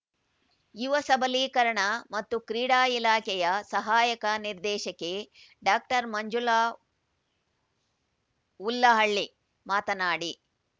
ಯುವ ಸಬಲೀಕರಣ ಮತ್ತು ಕ್ರೀಡಾ ಇಲಾಖೆಯ ಸಹಾಯಕ ನಿರ್ದೇಶಕಿ ಡಾಕ್ಟರ್ ಮಂಜುಳಾ ಹುಲ್ಲಹಳ್ಳಿ ಮಾತನಾಡಿ